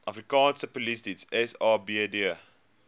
afrikaanse polisiediens sapd